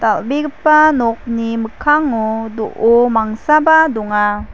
dal·begipa nokni mikkango do·o mangsaba donga.